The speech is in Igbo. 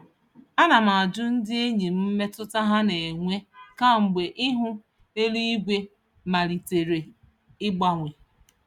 Ana m ajụ ndị enyi m mmetụta ha na-enwe kemgbe ihu eluigwe malitere ịgbanwe.